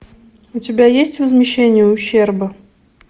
у тебя есть возмещение ущерба